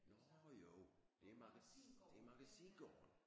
Nårh jo det er det er Magasingaarden!